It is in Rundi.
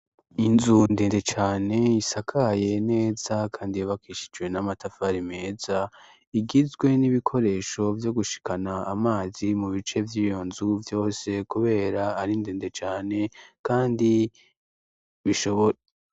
Inzu ndende cane isakaye neza kandi yubakishijwe n'amatafari meza, igizwe n'ibikoresho vyo gushikana amazi mu bice vy'iyo nzu vyose kubera ari ndende cane kandi bishobora.